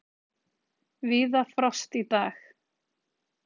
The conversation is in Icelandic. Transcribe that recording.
Víða frost í dag